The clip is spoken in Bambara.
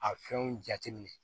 A fɛnw jateminɛ